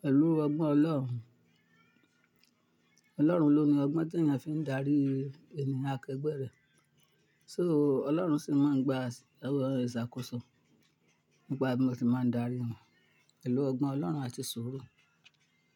pẹlù ọgbọ́n Ọlọ́run. Ọlọ́run ló ni ọgbọ́n tí èèyàn fi ń darí ẹni akẹgbẹ́ rẹ̀. So Ọlọ́run sì máa ń gba àwọn ìṣàkóso nípa bí mo ti máa ń darí wọn. Pelù ọgbọ́n Ọlọ́run a ti sùúrù.